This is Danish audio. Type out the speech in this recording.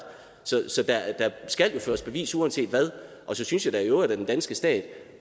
så der skal jo føres bevis uanset hvad og så synes da i øvrigt at den danske stat